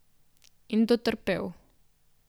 In dotrpel.